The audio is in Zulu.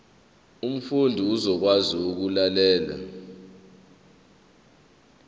umfundi uzokwazi ukulalela